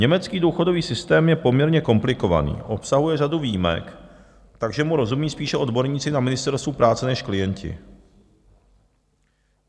Německý důchodový systém je poměrně komplikovaný, obsahuje řadu výjimek, takže mu rozumí spíše odborníci na ministerstvu práce než klienti.